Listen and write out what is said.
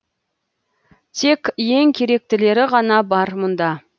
тек ең керектілері ғана бар мұнда